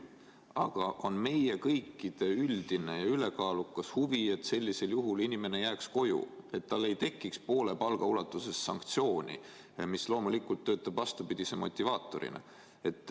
Aga on meie kõikide üldine ja ülekaalukas huvi, et sellisel juhul inimene jääks koju, et tal ei tekiks poole palga ulatuses sanktsiooni, mis loomulikult töötab vastupidise motivaatorina.